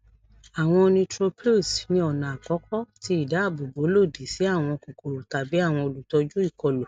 awọn neutrophils ni ọna akọkọ ti idaabobo lodi si awọn kokoro tabi awọn olutọju ikolu